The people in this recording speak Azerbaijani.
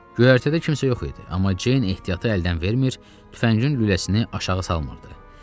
Göyərtədə kimsə yox idi, amma Ceyn ehtiyatı əldən vermir, tüfəngin lüləsini aşağı salmırdı.